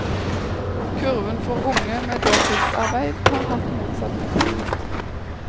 Kurven for unge med heltidsarbeid har hatt motsatt utvikling.